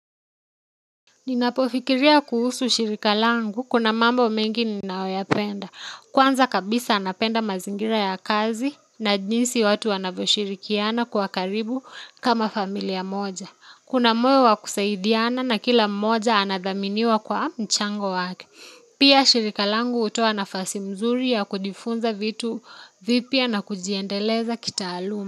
Ninapofikiria kuhusu shirika langu kuna mambo mengi ninayoyapenda. Kwanza kabisa napenda mazingira ya kazi na jinsi watu wanavyo shirikiana kwa karibu kama familia moja. Kuna moyo wa kusaidiana na kila mmoja anadhaminiwa kwa mchango wake. Pia shirika langu hutoa nafasi mzuri ya kujifunza vitu vipya na kujiendeleza kitaaluma.